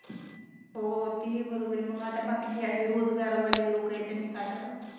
हो तेही बरोबर आहे मग बाकीचे अशे रोजगार वाले लोक आहे त्यांनी काय कराव